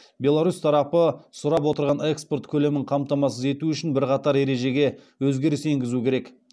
беларусь тарапы сұрап отырған экспорт көлемін қамтамасыз ету үшін бірқатар ережеге өзгеріс енгізу керек